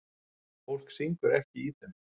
Fólk syngur ekki í þeim.